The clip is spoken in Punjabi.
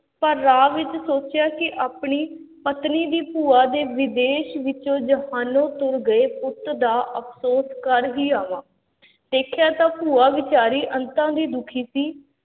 ਪਰ ਰਾਹ ਵਿੱਚ ਸੋਚਿਆ ਕਿ ਆਪਣੀ ਪਤਨੀ ਦੀ ਭੂਆ ਦੇ ਵਿਦੇਸ਼ ਵਿੱਚੋਂ ਜਹਾਨੋਂ ਤੁਰ ਗਏ ਪੁੱਤ ਦਾ ਅਫ਼ਸੋਸ ਕਰ ਹੀ ਆਵਾਂ ਦੇਖਿਆ ਤਾਂ ਭੂਆ ਬੇਚਾਰੀ ਅੰਤਾਂ ਦੀ ਦੁੱਖੀ ਸੀ।